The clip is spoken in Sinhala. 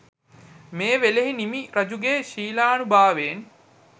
මේ වේලෙහි නිමි රජුගේ ශීලානුභාවයෙන්